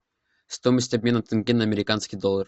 стоимость обмена тенге на американский доллар